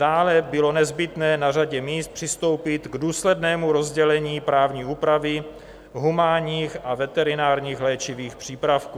Dále bylo nezbytné na řadě míst přistoupit k důslednému rozdělení právní úpravy humánních a veterinárních léčivých přípravků.